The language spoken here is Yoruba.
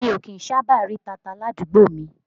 Mi ò kí ń sábà rí tata ládùúgbò mi